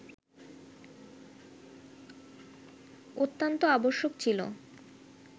অত্যন্ত আবশ্যক ছিল